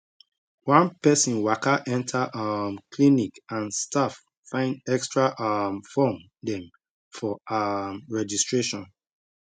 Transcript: one person waka enter um clinic and staff find extra um form dem for um registration